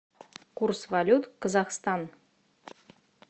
курс валют казахстан